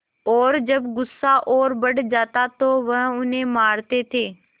और जब गुस्सा और बढ़ जाता तो वह उन्हें मारते थे